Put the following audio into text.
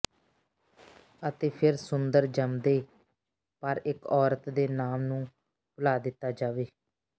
ਅਤੇ ਫਿਰ ਸੁੰਦਰ ਜੰਮਦੇ ਪਰ ਇੱਕ ਔਰਤ ਦੇ ਨਾਮ ਨੂੰ ਭੁਲਾ ਦਿੱਤਾ ਜਾਵੇ